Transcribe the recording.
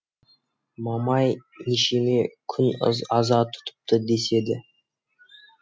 мамай нешеме күн аза тұтыпты деседі